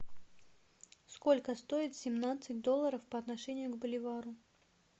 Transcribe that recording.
сколько стоит семнадцать долларов по отношению к боливару